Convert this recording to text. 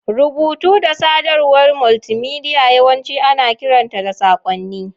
Rubutu da sadarwar multimedia yawanci ana kiranta da saƙonni.